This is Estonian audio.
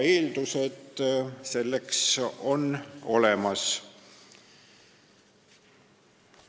Eeldused selleks on olemas.